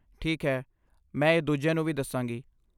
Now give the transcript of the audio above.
ਠੀਕ ਹੈ, ਮੈਂ ਇਹ ਦੂਜਿਆਂ ਨੂੰ ਵੀ ਦੱਸਾਂਗੀ